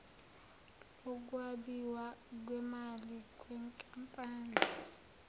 lokwabiwa kwemali yenkampani